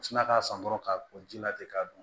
U sina k'a san dɔrɔn k'a ko jilatigɛ k'a dun